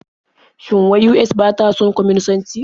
Shin wai US ba ta son kwaminisanci?